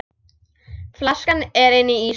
Flaskan er inni í ísskáp.